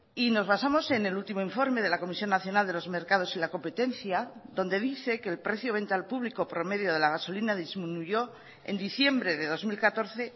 y nos basamos en el último informe de la comisión nacional de los mercados y la competencia donde dice que el precio venta al público promedio de la gasolina disminuyó en diciembre de dos mil catorce